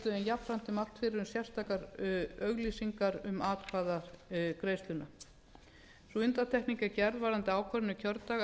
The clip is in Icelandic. jafnframt er mælt fyrir um sérstakar auglýsingar um atkvæðagreiðsluna sú undantekning er gerð varðandi ákvörðun um kjördag að þegar um